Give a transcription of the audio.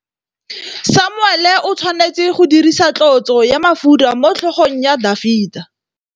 Samuele o tshwanetse go dirisa tlotsô ya mafura motlhôgong ya Dafita.